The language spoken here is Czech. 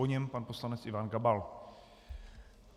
Po něm pan poslanec Ivan Gabal.